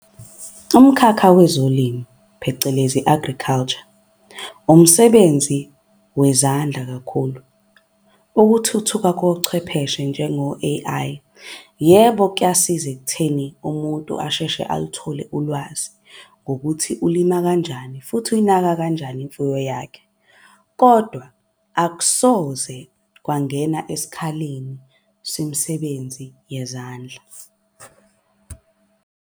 Umkhakha wezolimo phecelezi i-agriculture, umsebenzi wezandla kakhulu. Ukuthuthuka kochwepheshe njengo-A_I, yebo kuyasiza ekutheni umuntu asheshe aluthole ulwazi ngokuthi ulima kanjani. Futhi yinaka kanjani imfuyo yakhe kodwa akusoze kwangena esikhaleni semsebenzi yezandla.